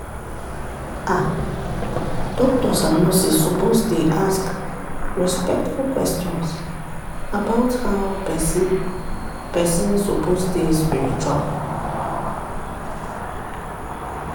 "ah doctors and nurses suppose dey ask respectful questions about how person person suppose dey spiritual